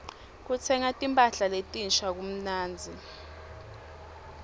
kutsenga timpahla letinsha kumnandzi